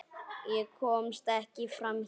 Ég komst ekki framhjá neinum.